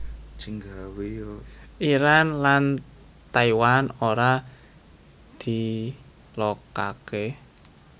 Iran lan Taiwan ora diilokaké